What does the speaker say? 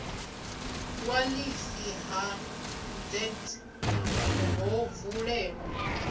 ṅwalisi ha deeds ho vulelwa